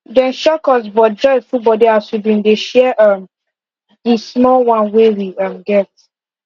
dem shock us but joy full body as we been dey share um di small one wey we um get